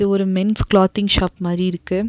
ஒரு men's clothing shop மாரி இருக்கு.